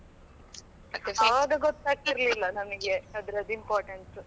ಆವಾಗ ಗೊತ್ತಾಗ್ತಿರಲಿಲ್ಲ ನಮಗೆ ಅದ್ರದ್ದುimportance.